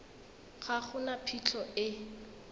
ga go na phitlho e